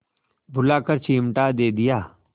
बुलाकर चिमटा दे दिया